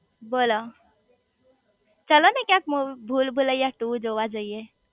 બોલો ચાલો ને ક્યાંક મુવ ભૂલ ભૂલભૂલૈયા ટુ જોવા જઇયે